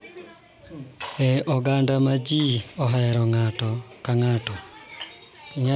E oganda ma ji ohero ng�ato ka ng�ato,